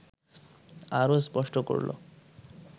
আরও স্পষ্ট করল